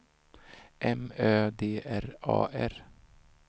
M Ö D R A R